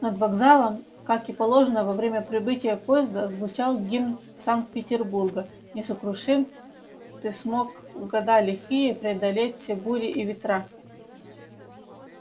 над вокзалом как и положено во время прибытия поезда звучал гимн санкт-петербурга несокрушим ты смог в года лихие преодолеть все бури и ветра